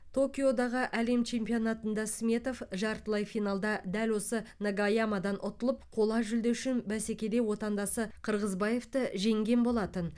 токиодағы әлем чемпионатында сметов жартылай финалда дәл осы нагаямадан ұтылып қола жүлде үшін бәсекеде отандасы қырғызбаевты жеңген болатын